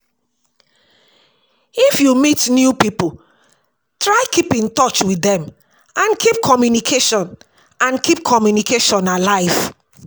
If you meet new pipo try keep in touch with dem and keep communication and keep communication alive